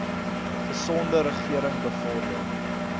gesonde regering bevorder